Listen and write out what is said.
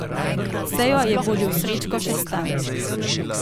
Sejo je vodil Srečko Šestan.